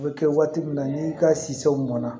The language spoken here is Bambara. A bɛ kɛ waati min na n'i ka siw mɔn na